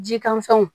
Ji kanfɛnw